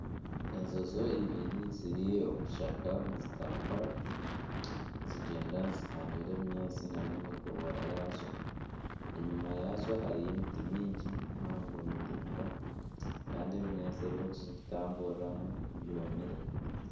Enjoki ibiri ziri omu kishaka nizitambura nizigyenda nizi hanyura ebinyaatsi nana emigobora yazo. Enyima yazo hariyo emiti mingi mihango miringwa Kandi ebinyaatsi ebiziri kutamburiramu byomire.